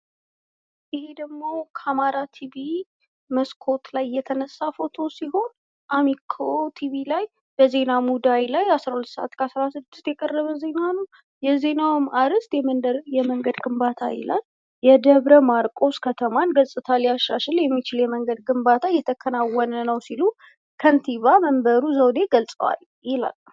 ይሄ ደግሞ ከአማራ ቲቪ መስኮት ላይ የተነሳ ፎቶ ሲሆን አሚኮ ቲቪ ላይ በዜና ሙዳይ ላይ አስራ ሁለት ሰአት ከአስራ ስድስት የቀረበ ዜና ነው ። የዜናውም አርዕስት የመንገድ ግንባታ ይላል ። የደብረ ማርቆስ ከተማን ገጽታ ሊያሻሽል የሚችል የመንገድ ግንባታ እየተከናወነ ነው ሲሉ ከንቲባ መንበሩ ዘውዴ ገልጸዋል ይላል ።